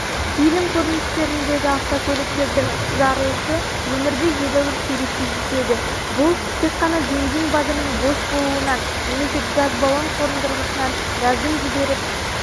фильм көріністеріндегі автокөліктердің жарылысы өмірде едәуір сирек кездеседі бұл тек қана бензин багының бос болуынан немесе газ баллон қондырғысынан газдың жіберіп